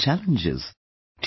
The challenge is T